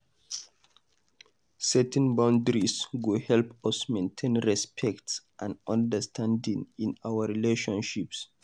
Setting boundaries go help us maintain respect and understanding in our relationships.